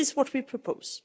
This is what we propose.